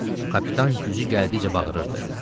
Kapitan gücü gəldikcə bağırırdı.